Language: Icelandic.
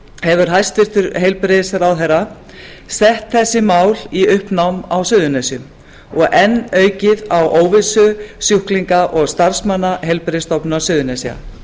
hefur hæstvirtur heilbrigðisráðherra sett þessi mál í uppnám á suðurnesjum og enn aukið á óvissu sjúklinga og starfsmanna heilbrigðisstofnunar suðurnesja